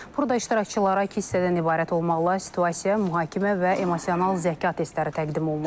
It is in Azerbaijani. Burada iştirakçılara iki hissədən ibarət olmaqla situasia, mühakimə və emosional zəka testləri təqdim olunub.